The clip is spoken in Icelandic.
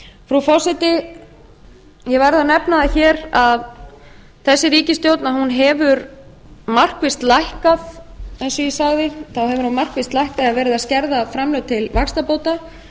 frú forseti ég verð að nefna það hér að þessi ríkisstjórn hefur markvisst lækkað eins og sagði þá hefur hún markvisst lækkað eða verið að skerða framlög til vaxtabóta